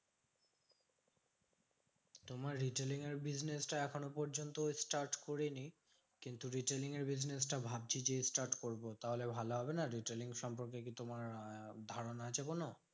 তোমার retailing এর business টা এখনো পর্যন্ত start করিনি। কিন্তু retailing এর business টা ভাবছি যে start করবো। তাহলে ভালো হবে না? retailing সম্পর্কে কি তোমার আহ ধারণা আছে কোনো?